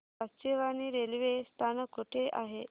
Kachewani railway स्थानक कुठे आहे